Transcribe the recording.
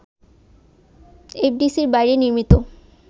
এফডিসির বাইরে নির্মিত